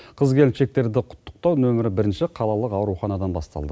қыз келіншектерді құттықтау нөмірі бірінші қалалық ауруханадан басталды